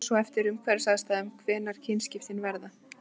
það fer svo eftir umhverfisaðstæðum hvenær kynskiptin verða